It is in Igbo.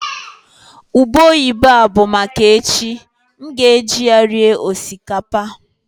ube oyibo a bụ maka echi, m ga-eji ya rie osikapa